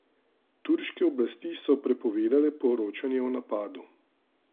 Turške oblasti so prepovedale poročanje o napadu.